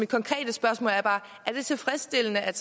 konkrete spørgsmål er bare er det tilfredsstillende at